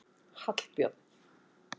Hallbjörn